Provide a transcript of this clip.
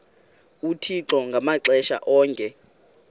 uthixo ngamaxesha onke